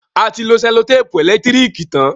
A ti lo sẹ́lòtèpù ẹ̀lẹ́tírìkì tán.